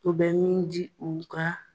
O bɛ min di u ka